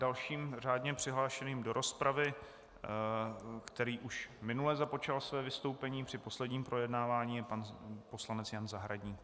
Dalším řádně přihlášeným do rozpravy, který už minule započal své vystoupení při posledním projednávání, je pan poslanec Jan Zahradník.